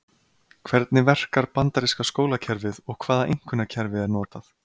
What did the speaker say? Hvernig verkar bandaríska skólakerfið og hvaða einkunnakerfi er notað?